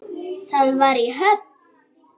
Það var í Höfn.